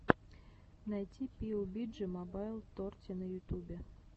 найти пиюбиджи мобайл торти на ютубе